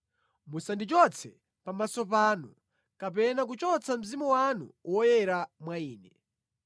Musandichotse pamaso panu kapena kuchotsa Mzimu wanu Woyera mwa ine.